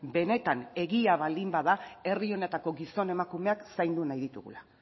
benetan egia baldin bada herri honetako gizon emakumeak zaindu nahi ditugula